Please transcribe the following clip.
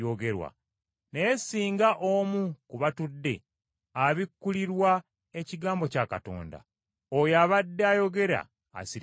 Naye singa omu ku batudde abikkulirwa ekigambo kya Katonda, oyo abadde ayogera asirikenga.